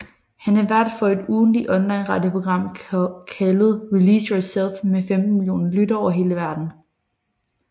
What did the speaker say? Han er vært for et ugentligt online radioprogram kaldet Release Yourself med 15 millioner lyttere over hele verden